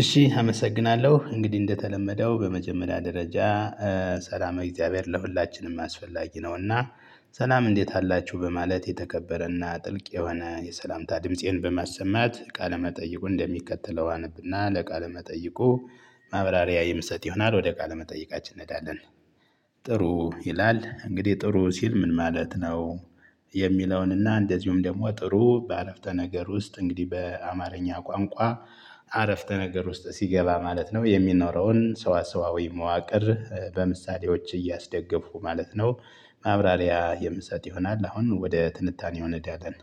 እሺ አመሰግናለሁ እንግዲህ እንደተለመደው በመጀመሪያ ደረጃ ሰላማዊ እግዚአብሔር ለሁላችንም አስፈላጊ ነውና። ሰላም እንዴት አላችሁ በማለት የተከበረና ጥልቅ የሆነ የሰላምታ ድምፄን በማሰማት ቃለ መጠይቁ እንደሚከተለው አነብና ለቃለ መጠይቁ ማብራሪያ የምሰጥ ይሆናል ወደ ቃለ መጠይቃችን እንሄዳለን። ጥሩ ይላል እንግዲህ ጥሩ ሲል ምን ማለት ነው? የሚለውንና እንደዚሁም ደግሞ ጥሩ በአረፍተ ነገር ውስጥ እንግዲህ በአማርኛ ቋንቋ አረፍተ ነገር ውስጥ ሲገባ ማለት ነው የሚኖረውን ሰዋሰዋዊ መዋቅር በምሳሌዎች እያስደገፉ ማለት ነው። ማብራሪያ የምሰጥ ይሆናል አሁን ወደ ትንታኔው እንሄዳለን።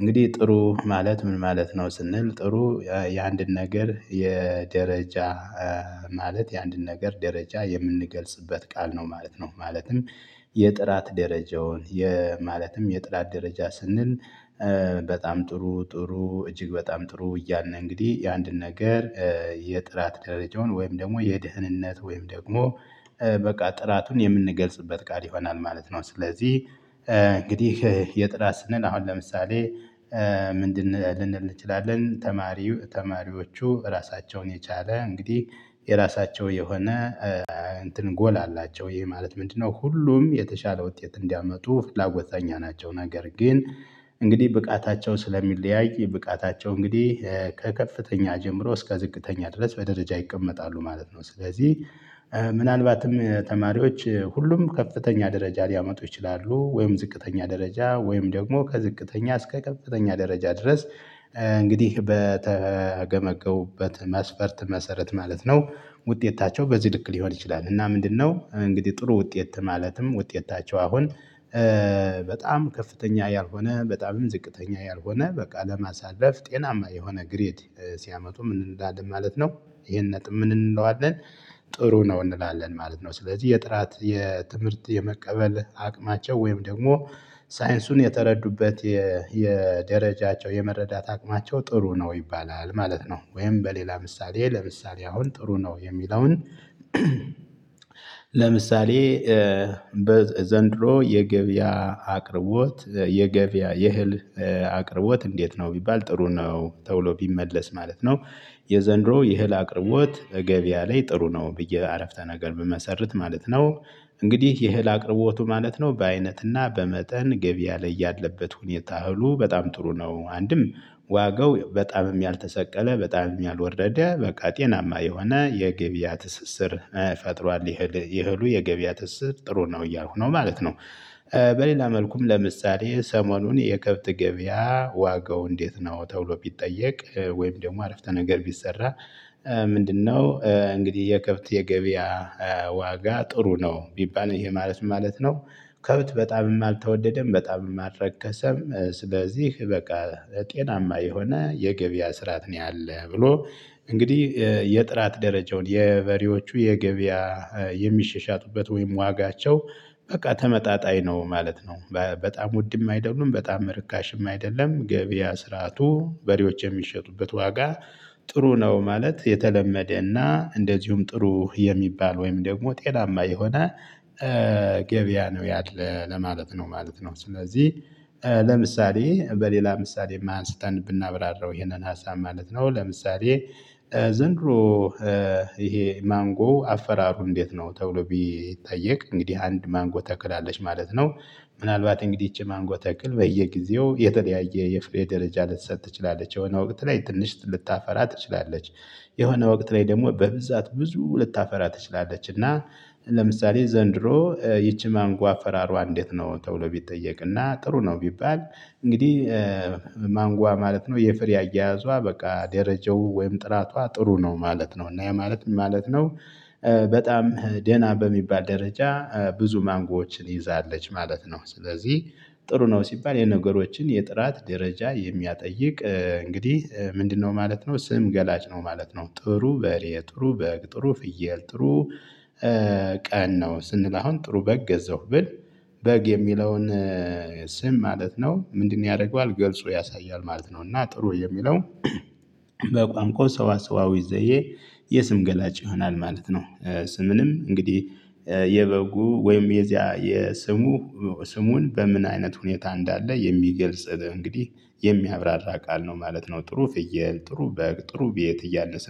እንግዲህ ጥሩ ማለት ምን ማለት ነው ስንል ጥሩ የአንድን ነገር የደረጃ ማለት የአንድን ነገር ደረጃ የምንገልጽበት ቃል ነው ማለት ነው ማለትም። የጥራት ደረጃውን ማለትም የጥራት ደረጃ ስንል። በጣም ጥሩ ጥሩ እጅግ በጣም ጥሩ እያልን ነው። እንግዲህ የአንድን ነገር የጥራት ደረጃውን ወይም ደግሞ የደህንነት ወይም ደግሞ በቃ ጥራቱን የምንገልጽበት ቃል ይሆናል ማለት ነው። ስለዚህ እንግዲህ የጥራት ስንል አሁን ለምሳሌ። ምንድን ልንል እንችላለን ተማሪ ተማሪዎቹ ራሳቸውን የቻለ እንግዲህ የራሳቸው የሆነ። እንትን ጎል አላቸው ይሄ ማለት ምንድነው? ሁሉም የተሻለ ውጤት እንዲያመጡ ፍላጎተኛ ናቸው። ነገር ግን እንግዲህ ብቃታቸው ስለሚለያይ ብቃታቸው እንግዲህ ከከፍተኛ ጀምሮ እስከ ዝቅተኛ ድረስ በደረጃ ይቀመጣሉ ማለት ነው። ስለዚህ ምናልባትም ተማሪዎች ሁሉም ከፍተኛ ደረጃ ሊያመጡ ይችላሉ ወይም ዝቅተኛ ደረጃ ወይም ደግሞ ከዝቅተኛ እስከ ከፍተኛ ደረጃ ድረስ። እንግዲህ በተገመገሙበት መስፈርት መሰረት ማለት ነው። ውጤታቸው በዚህ ልክ ሊሆን ይችላል። እና ምንድነው እንግዲህ ጥሩ ውጤት ማለትም ውጤታቸው አሁን። በጣም ከፍተኛ ያልሆነ በጣምም ዝቅተኛ ያልሆነ በቃ ለማሳረፍ ጤናማ የሆነ ግሬድ ሲያመጡ ምን እንዳድም ማለት ነው? ይሄን ነጥብ ምን እንለዋለን? ጥሩ ነው እንላለን ማለት ነው። ስለዚህ የጥራት የትምህርት የመቀበል አቅማቸው ወይም ደግሞ ሳይንሱን የተረዱበት የደረጃቸው የመረዳት አቅማቸው ጥሩ ነው ይባላል ማለት ነው። ወይም በሌላ ምሳሌ ለምሳሌ አሁን ጥሩ ነው የሚለውን። ለምሳሌ። ዘንድሮ የገቢያ አቅርቦት የገቢያ የህል አቅርቦት እንዴት ነው ቢባል ጥሩ ነው ተብሎ ቢመለስ ማለት ነው። የዘንድሮ የህል አቅርቦት እገቢ ላይ ጥሩ ነው ብዬ አረፍተ ነገር ብመሰርት ማለት ነው። እንግዲህ ይህን አቅርቦቱ ማለት ነው በአይነትና በመጠን ገቢ ያለ እያለበት ሁኔታ እህሉ በጣም ጥሩ ነው አንድም ዋጋው በጣምም ያልተሰቀለ በጣምም ያልወረደ በቃ ጤናማ የሆነ የገብያ ትስስር ፈጥሯል። ይሄሉ የገበያ ትስስር ጥሩ ነው እያልኩ ነው ማለት ነው። በሌላ መልኩም ለምሳሌ ሰሞኑን የከብት ገበያ ዋጋው እንዴት ነው ተብሎ ቢጠየቅ ወይም ደግሞ አረፍተ ነገር ቢሰራ። ምንድነው እንግዲህ የከብት የገበያ ዋጋ ጥሩ ነው ቢባልም ይሄ ማለት ምን ማለት ነው? ከብት በጣምም አልተወደደም በጣምም አልረ ከሰም ስለዚህ በቃ ጤናማ የሆነ የገበያ ስርዓት ነው ያለው ብሎ። እንግዲህ የጥራት ደረጃውን የበሬዎቹ የገበያ የሚሽሻቱበት ወይም ዋጋቸው በቃ ተመጣጣኝ ነው ማለት ነው። በጣም ውድም አይደሉም በጣም ርካሽም አይደለም ገበያ ስርዓቱ በሬዎች የሚሸጡበት ዋጋ ጥሩ ነው ማለት የተለመደና እንደዚሁም ጥሩ የሚባል ወይም ደግሞ ጤናማ የሆነ። ገበያ ነው ያለ ለማለት ነው ማለት ነው። ስለዚህ ለምሳሌ በሌላ ምሳሌም አንስተን ብናብራራው ይሄንን ሀሳብ ማለት ነው ለምሳሌ። ዘንድሮ ይሄ ማንጎ አፈራሩ እንዴት ነው ተብሎ ቢጠየቅ እንግዲህ አንድ ማንጎ ተክላለች ማለት ነው። ምናልባት እንግዲህ ይቺ ማንጎ ተክል በየጊዜው የተለያየ የፍሬ ደረጃ ልትሰጥ ትችላለች የሆነ ወቅት ላይ ትንሽ ልታፈራ ትችላለች። የሆነ ወቅት ላይ ደግሞ በብዛት ብዙ ልታፈራ ትችላለች እና። ለምሳሌ ዘንድሮ ይቺ ማንጎ አፈራሯ እንዴት ነው ተብሎ ቢጠየቅና ጥሩ ነው ቢባል። እንግዲህ ማንጓ ማለት ነው የፍሬ አያያዟ በቃ ደረጃው ወይም ጥራቷ ጥሩ ነው ማለት ነው እና ያማለት ምን ማለት ነው? በጣም ደህና በሚባል ደረጃ ብዙ ማንጎዎችን ይዛለች ማለት ነው። ስለዚህ ጥሩ ነው ሲባል የነገሮችን የጥራት ደረጃ የሚያጠይቅ እንግዲህ ምንድነው ማለት ነው ስም ገላጭ ነው ማለት ነው። ጥሩ በሬ ጥሩ በግ ጥሩ ፍየል ጥሩ። ቀን ነው ስንል አሁን ጥሩ በግ ገዛው ብል። በግ የሚለውን። ስም ማለት ነው ምንድነው ያደርገዋል ገልጾ ያሳያል ማለት ነው። እና ጥሩ የሚለው በቋንቋ ሰዋሰዋዊ ዘዬ የስም ገላጭ ይሆናል ማለት ነው። ስምንም እንግዲህ የበጉ ወይም የዚያ የስሙ ስሙን በምን አይነት ሁኔታ እንዳለ የሚገልጽ እንግዲህ የሚያብራራ ቃል ነው ማለት ነው። ጥሩ ፍየል ጥሩ በግ ጥሩ ቤት እያለ